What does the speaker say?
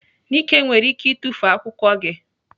Nike nwere ike itufu akwụkwọ gị.